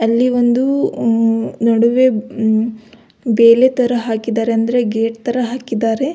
ಅಲ್ಲಿ ಒಂದು ನಡುವೆ ಬೇಲಿ ತರ ಹಾಕಿದ್ದಾರೆ ಅದ್ರೆ ಗೇಟ್ ತರ ಹಾಕಿದ್ದಾರೆ.